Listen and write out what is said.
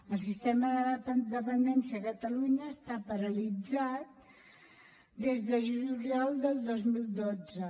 el sistema de la dependència a catalunya està paralitzat des de juliol del dos mil dotze